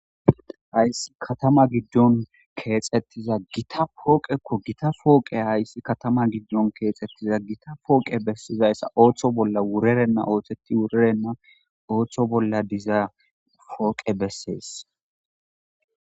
hayssi katama giddon keexettiza gita pooqekko gita pooqe hayssi katama giddon keexettiza gita pooqe bessizayssa ooththo bolla wurerenna oothetti wurerenna ooththo bolla diza pooqe bessees